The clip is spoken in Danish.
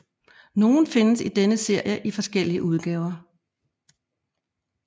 Nogle findes i denne serie i forskellige udgaver